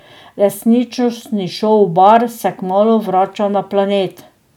Resničnostni šov Bar se kmalu vrača na Planet.